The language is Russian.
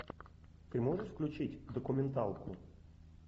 ты можешь включить документалку